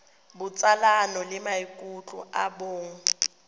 botsalano le maikutlo a bong